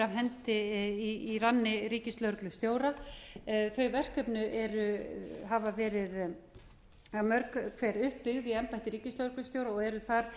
hendi í ranni ríkislögreglustjóra þau verkefni hafa verið mörg hver upp byggð í embætti ríkislögreglustjóra og eru þar